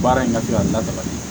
Baara in ka di a lataga ye